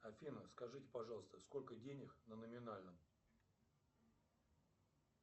афина скажите пожалуйста сколько денег на номинальном